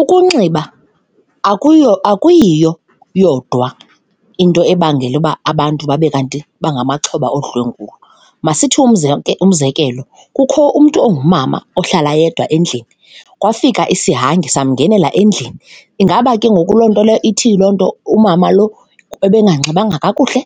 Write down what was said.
Ukunxiba akuyo, akuyiyo yodwa into ebangela uba abantu babe kanti bangamaxhoba odlwengulwa. Masithi umzekelo, kukho umntu ongumama ohlala yedwa endlini, kwafika isihangi samgendlela endlini, ingaba ke ngoku loo nto leyo ithi loo nto umama loo ebenganxibanga kakuhle?